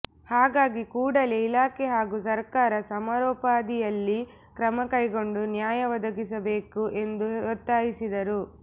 ಹಾಗಾಗಿ ಕೂಡಲೇ ಇಲಾಖೆ ಹಾಗೂ ಸರ್ಕಾರ ಸಮರೋಪಾದಿಯಲ್ಲಿ ಕ್ರಮ ಕೈಗೊಂಡು ನ್ಯಾಯ ಒದಗಿಸಬೇಕು ಎಂದು ಒತ್ತಾಯಿಸಿದರು